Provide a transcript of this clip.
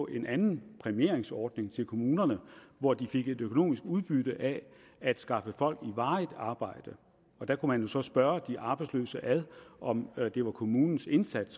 en anden præmieringsordning til kommunerne hvor de fik et økonomisk udbytte af at skaffe folk i varigt arbejde der kunne man jo så spørge de arbejdsløse om det var kommunens indsats